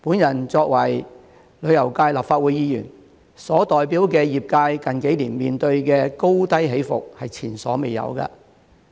我作為旅遊界立法會議員，所代表的業界近幾年面對的高低起伏前所未有。